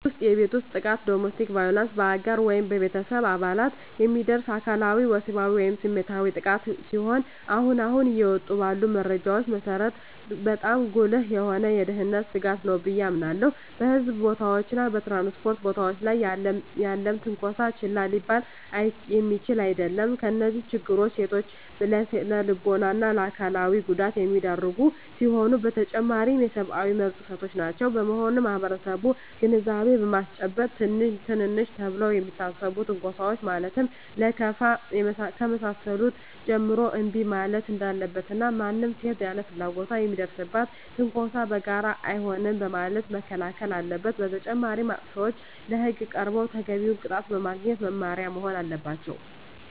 በቤት ውስጥ የቤት ውስጥ ጥቃት (Domestic Violence): በአጋር ወይም በቤተሰብ አባላት የሚደርስ አካላዊ፣ ወሲባዊ ወይም ስሜታዊ ጥቃት ሲሆን አሁን አሁን እየወጡ ባሉ መረጃዎች መሰረት በጣም ጉልህ የሆነ የደህንነት ስጋት ነው ብየ አምናለሁ። በሕዝብ ቦታዎች እና በ ትራንስፖርት ቦታወች ላይ ያለም ትነኮሳ ችላ ሊባል የሚችል አደለም። እነዚህ ችግሮች ሴቶችን ለስነልቦና እና አካላዊ ጉዳት የሚዳርጉ ሲሆኑ በተጨማሪም የሰብአዊ መብት ጥሰቶችም ናቸው። በመሆኑም ማህበረሰቡን ግንዛቤ በማስጨበጥ ትንንሽ ተብለው ከሚታሰቡ ትንኮሳወች ማለትም ከለከፋ ከመሳሰሉት ጀምሮ እንቢ ማለት እንዳለበት እና ማንም ሴት ያለ ፍላጎቷ ለሚደርስባት ትንኮሳ በጋራ አይሆንም በማለት መከላከል አለበት። በተጨማሪም አጥፊዎች ለህግ ቀርበው ተገቢውን ቅጣት በማግኘት መማሪያ መሆን አለባቸው።